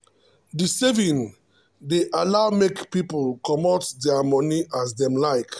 the saving dey allow make people commot their moni as them like.